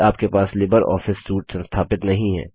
यदि आपके पास लिबर ऑफिस सूट संस्थापित नहीं है